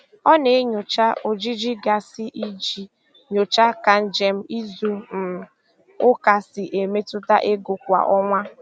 Ọ na-enyocha ojiji gaasị iji nyochaa ka njem izu um ụka si emetụta ego kwa ọnwa.